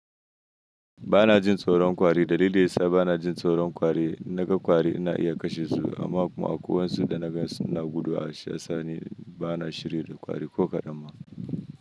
Bana jin tsoron kwari dalili yasa bana jin tsoron kwari. INaga kwari na iya kashe su amma kuma koyon su da naga suna gudu a shasani bana shirya kwari ko kadan ma.